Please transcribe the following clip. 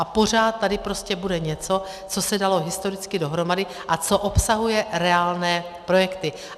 A pořád tady prostě bude něco, co se dalo historicky dohromady a co obsahuje reálné projekty.